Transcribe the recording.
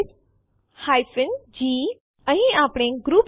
001348 001357 પછી એમવી આદેશ સાથે b અથવા backup વિકલ્પ આવશે